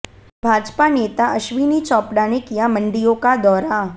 भाजपा नेता अश्विनी चोपड़ा ने किया मंडियों का दौरा